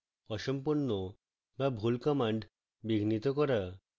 অসম্পূর্ণ বা ভুল commands বিঘ্নিত করা